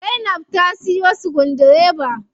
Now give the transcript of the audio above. Zainab ta siyo sukudireba.